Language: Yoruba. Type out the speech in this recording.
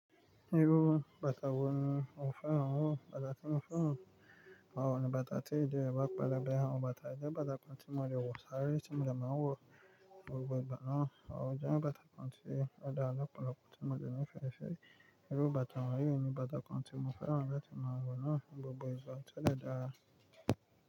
Irú bàtà wo ni ò fẹ́ rán wọn? Bàtà tí mo fẹ́ rán awọn ni bàtà tí ìdí e gbà pelebe, awọn bàtà. Ǹjẹ́ bàtà kan tí mo lè wọ̀ sáré tí mo de máa wọ̀ gbogbo ìgbà náà? Ojẹ́ bàtà kan tí ó dára lopolopo tí mo de ni fe ṣáyé. Irú bàtà wọ̀nyí ni bàtà kan tí mo fẹ́ rán lati maa wọ̀ náà ni gbogbo ìgbà tí ó dára.